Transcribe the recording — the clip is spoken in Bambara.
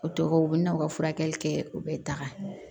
O tɔgɔ u bɛ na u ka furakɛli kɛ u bɛ taga